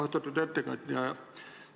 Austatud ettekandja!